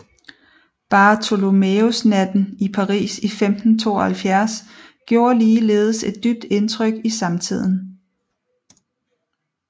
Bartholomæusnatten i Paris i 1572 gjorde ligeledes et dybt indtryk i samtiden